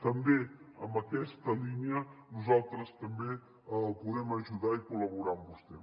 també en aquesta línia nosaltres també podem ajudar i col·laborar amb vostè